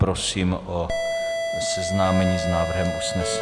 Prosím o seznámení s návrhem usnesení.